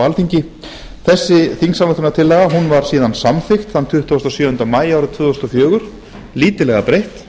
alþingi þessi þingsályktunartillaga var síðan samþykkt þann tuttugasta og sjöunda maí árið tvö þúsund og fjögur lítillega breytt